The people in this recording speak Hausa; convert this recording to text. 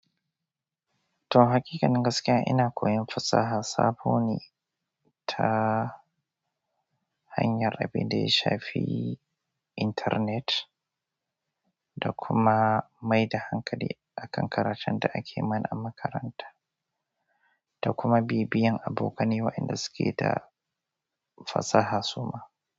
To hakikan gaskiya ina koyan fasaha sabo ne ta hanyar abub da ya shafi intanet da kuma mai da hankali akan karatun da ake mana a makaranta da kuma bibiyan abokanai wa inda suke da fasaha suma.